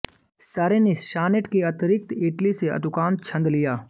सरे ने सॉनेट के अतिरिक्त इटली से अतुकांत छंद लिया